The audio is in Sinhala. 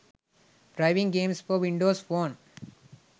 driving games for windows phone